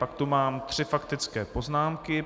Pak tu mám tři faktické poznámky.